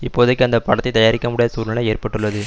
இப்போதைக்கு அந்த படத்தை தயாரிக்கமுடியாத சூழ்நிலை ஏற்பட்டுள்ளது